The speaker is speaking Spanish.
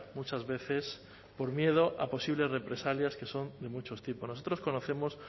muchas veces por miedo a posibles represalias que son de muchos tipos nosotros conocemos